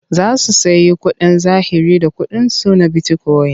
Za su sayi kuɗin zahiri da ƙuɗinsu na bitikoyin.